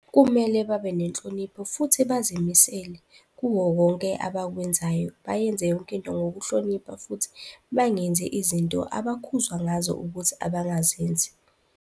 Kumele babe nenhlonipho futhi bazimisele kuwo wonke abakwenzayo, bayenze yonke into ngokuhlonipha futhi bangenzi izinto abakhuzwa ngazo ukuthi abangazenzi.